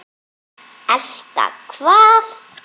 Elta hvað?